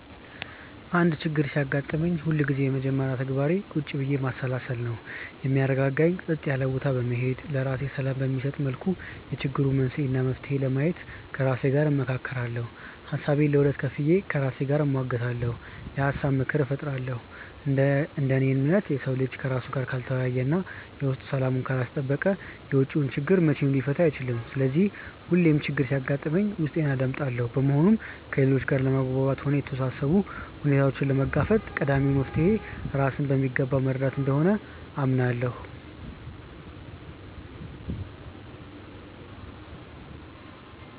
አንድ ችግር ሲያጋጥመኝ ሁልጊዜም የመጀመሪያ ተግባሬ ቁጭ ብዬ ማሰላሰል ነው። የሚያረጋጋኝ ጸጥ ያለ ቦታ በመሄድ፣ ለራሴ ሰላም በሚሰጠኝ መልኩ የችግሩን መንስኤ እና መፍትሄ ለማየት ከራሴ ጋር እመካከራለሁ። ሀሳቤን ለሁለት ከፍዬ ከራሴ ጋር እሟገታለሁ፤ የሀሳብ መድረክም እፈጥራለሁ። እንደ እኔ እምነት፣ የሰው ልጅ ከራሱ ጋር ካልተወያየ እና የውስጡን ሰላም ካላስጠበቀ የውጪውን ችግር መቼም ሊፈታ አይችልም። ስለዚህ ሁሌም ችግር ሲያጋጥመኝ ውስጤን አዳምጣለሁ። በመሆኑም ከሌሎች ጋር ለመግባባትም ሆነ የተወሳሰቡ ሁኔታዎችን ለመጋፈጥ ቀዳሚው መፍትሔ ራስን በሚገባ መረዳት እንደሆነ አምናለሁ።